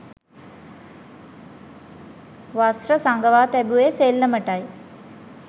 වස්ත්‍ර සඟවා තැබුවේ සෙල්ලටම යි.